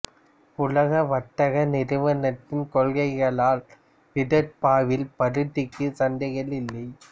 உலக வர்த்தக நிறுவனத்தின் கொள்கைகளால் விதர்பாவில் பருத்திக்கு சந்தைகள் இல்லை